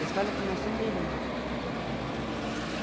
Eles falam que nós somos irmã.